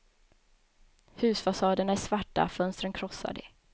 Husfasaderna är svarta, fönstren krossade.